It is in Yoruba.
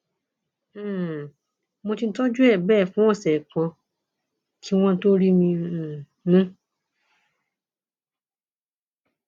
um mo ti tọjú ẹ bẹẹ fún ọsẹ kan kí wọn tóó rí mi um mú